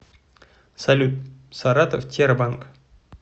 салют саратов тербанк